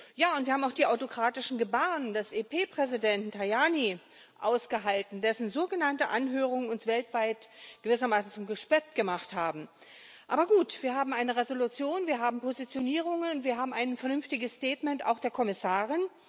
Ja, und wir haben auch die autokratischen Gebaren des EP Präsidenten Tajani ausgehalten, dessen sogenannte Anhörung uns weltweit gewissermaßen zum Gespött gemacht hat. Aber gut wir haben eine Entschließung, wir haben Positionierungen, und wir haben ein vernünftiges Statement auch der Kommissarin.